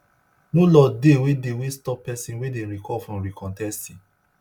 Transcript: no law dey wey dey wey stop pesin wey dem recall from recontesting